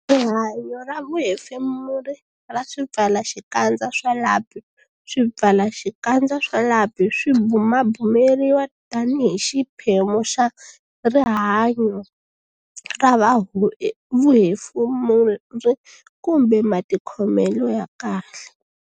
Rihanyo ra vuhefemuri ra swipfalaxikandza swa lapi Swipfalaxikandza swa lapi swi bumabumeriwa tanihi xiphemu xa rihanyo ra vuhefemuri kumbe matikhomelo ya kahle.